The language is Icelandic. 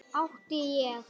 Átti ég.